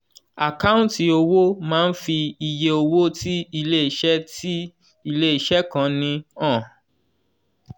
àkáǹtì owó máá ń fi iye owó tí iléeṣẹ́ tí iléeṣẹ́ kan ní han.